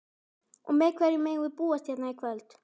Og við hverju megum við búast hérna í kvöld?